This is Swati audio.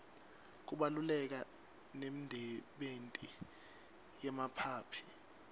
kubaluleka nemdebenti yemaphaphy